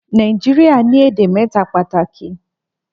Nàìjíríà ni èdè méta pàtàkì